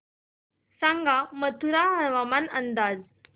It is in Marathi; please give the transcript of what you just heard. सांगा मथुरा हवामान अंदाज